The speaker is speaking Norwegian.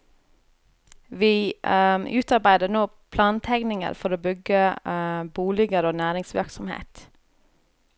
Vi utarbeider nå plantegninger for å bygge boliger og næringsvirksomhet.